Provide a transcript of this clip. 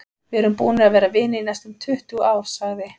Við erum búnir að vera vinir í næstum tuttugu ár, sagði